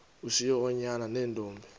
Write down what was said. ushiye oonyana neentombi